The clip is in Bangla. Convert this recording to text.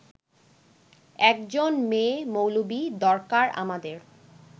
একজন মেয়ে-মৌলবি দরকার আমাদের